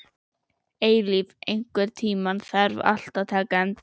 Eilíf, einhvern tímann þarf allt að taka enda.